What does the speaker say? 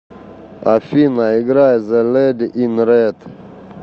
афина играй зе леди ин ред